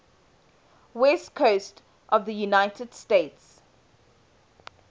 west coast of the united states